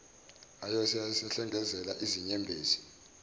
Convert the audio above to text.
aso ayesehlengezela izinyembezi